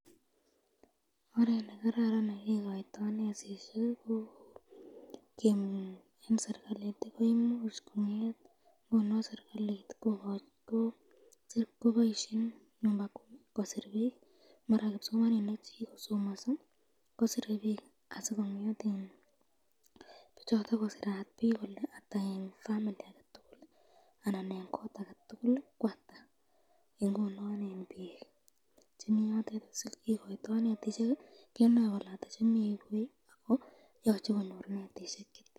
Oret nekararan nekikoyto netisyek eng serikali, koimuch konget serikalit koboisyen nyumba kumi kosir bik maran kipsomaninik chekikosomaso kosirebik ,kole ata eng famili anan eng kot ake tukul singokoito netisyek kenoe kole kikoyto chetyan.